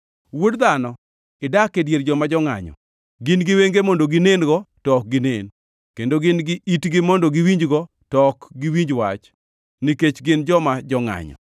“Wuod dhano, idak e dier joma jongʼanyo. Gin gi wenge mondo ginen-go to ok ginen, kendo gin gi itgi mondo giwinjgo, to ok giwinj wach, nikech gin joma jongʼanyo.